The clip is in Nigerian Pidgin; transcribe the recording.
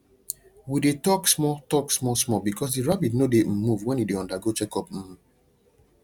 we dey talk small talk small small because the rabbit no dey um move when e dey undergo check up um